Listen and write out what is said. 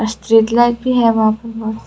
street light भी है वहां पर--